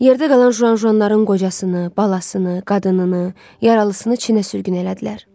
Yerdə qalan jujanların qocasını, balasını, qadınını, yaralısını Çinə sürgün elədilər.